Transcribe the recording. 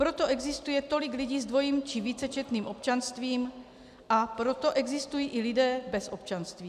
Proto existuje tolik lidí s dvojím či vícečetným občanstvím, a proto existují i lidé bez občanství.